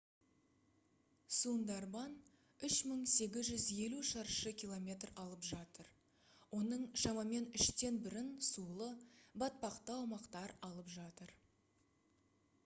сундарбан 3850 шаршы км алып жатыр. оның шамамен үштен бірін сулы/батпақты аумақтар алып жатыр